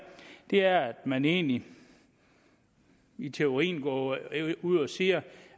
er at man egentlig i teorien går ud og siger